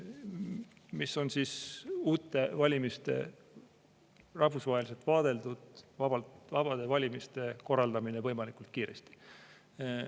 See on uute valimiste, rahvusvaheliselt vaadeldud vabade valimiste korraldamine võimalikult kiiresti.